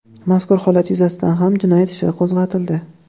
Mazkur holat yuzasidan ham jinoyat ishi qo‘zg‘atildi.